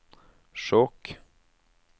Skjåk